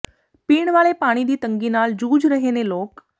ਪੀਣ ਵਾਲੇ ਪਾਣੀ ਦੀ ਤੰਗੀ ਨਾਲ ਜੂਝ ਰਹੇ ਨੇ ਲੋਕ